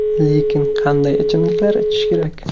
Lekin qanday ichimliklar ichish kerak?